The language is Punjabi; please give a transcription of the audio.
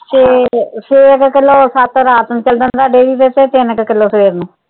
ਛੇ, ਛੇ ਕ ਕਿੱਲੋ ਸੱਤ ਰਾਤ ਨੂੰ ਚਾਲ ਜਾਂਦਾ dairy ਤੇ ਤਿੰਨ ਕ ਕਿੱਲੋ ਸਵੇਰ ਨੂੰ।